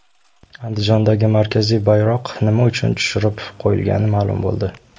Andijondagi markaziy bayroq nima uchun tushirib qo‘yilgani ma’lum bo‘ldi .